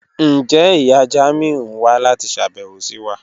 Njẹ iya Jamiu n wa lati ṣabẹwo si wa?